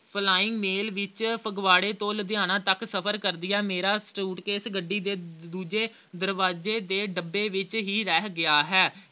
flying mail ਵਿੱਚ ਫਗਵਾੜੇ ਤੋਂ ਲੁਧਿਆਣੇ ਤੱਕ ਸਫ਼ਰ ਕਰਦਿਆ ਮੇਰਾ suitcase ਗੱਡੀ ਦੇ ਦੂ ਅਹ ਦੂਜੇ ਦਰਵਾਜ਼ੇ ਦੇ ਡੱਬੇ ਵਿੱਚ ਰਹਿ ਗਿਆ ਹੈ